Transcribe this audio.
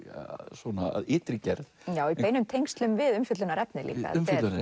svona að ytri gerð já í beinum tengslum við umfjöllunarefnið líka